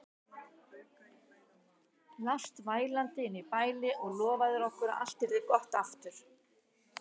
Lást vælandi inni í bæli og lofaðir okkur að allt yrði aftur gott.